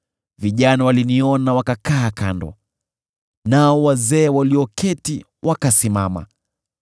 vijana waliniona wakakaa kando, nao wazee walioketi wakasimama;